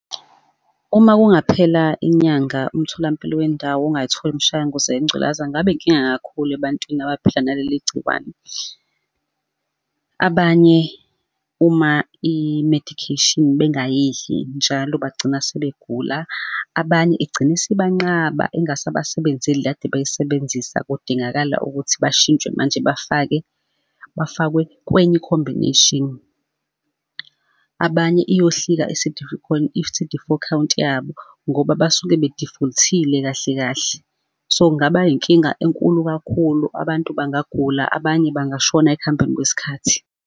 Uma kungaphela inyanga, umtholampilo wendawo ungayitholi imishanguzo yengculaza, kungabe inkinga kakhulu ebantwini abaphila naleli gciwane. Abanye uma i-medication bengayidli njalo bagcina sebegula, abanye egcine isibanqaba, ingasabasebenzeli le kade bayisebenzisa. Kudingakala ukuthi bashintshe manje, bafake, bafakwe kwenye i-combination. Abanye iyohlika i-C_D four count yabo, ngoba basuke be-default-ile kahle kahle. So, kungaba yinkinga enkulu kakhulu. Abantu bangaguqula, abanye bengashona ekuhambeni kwesikhathi.